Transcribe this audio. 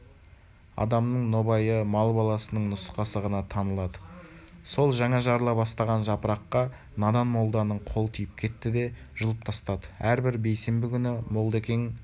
адамның нобайы мал баласының нұсқасы ғана танылады сол жаңа жарыла бастаған жапыраққа надан молданың қолы тиіп кетті де жұлып тастады әрбір бейсенбі күні молда-екен